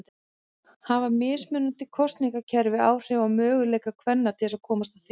Hafa mismunandi kosningakerfi áhrif á möguleika kvenna til að komast á þing?